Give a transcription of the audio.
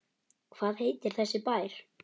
Hvað heitir þessi bær?